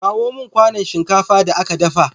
Kawo mun kwanon shinkafa da ka dafa